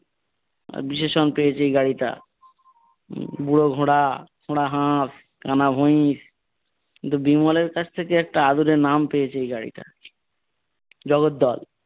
বিশেষণ পেয়েছে এই গাড়িটা, বুড়ো ঘোড়া, খোঁড়া হাঁস, কানা ভুইস কিন্তু বিমলের কাছ থেকে একটা আদুরে নাম পেয়েছে এই গাড়িটা, জগদ্দল।